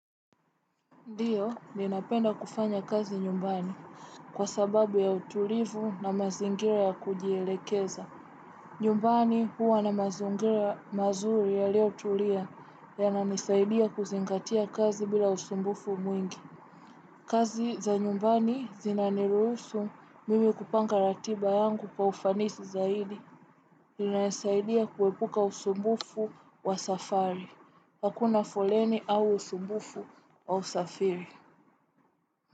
Ndiyo, ninapenda kufanya kazi nyumbani. Kwa sababu ya utulivu na mazingira ya kujielekeza. Nyumbani huwa na mazungira mazuri yalio tulia yananisaidia kuzingatia kazi bila usumbufu mwingi. Kazi za nyumbani zinaniruhusu mimi kupanga ratiba yangu kwa ufanisi zaidi. Zinasaidia kuepuka usumbufu wa safari. Hakuna foleni au usumbufu wa usafiri.